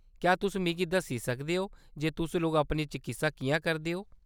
क्या तुस मिगी दस्सी सकदे ओ जे तुस लोक अपनी चकित्सा किʼयां करदे ओ ?